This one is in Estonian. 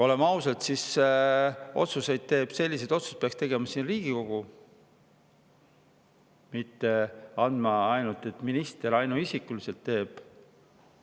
Oleme ausad, selliseid otsuseid peaks tegema Riigikogu, mitte nii, et ainult minister ainuisikuliselt teeb.